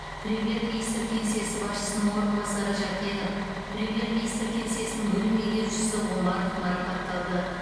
премьер министр кеңсесі басшысының орынбасары жәкенов премьер министр кеңсесінің бөлім меңгерушісі омаров марапатталды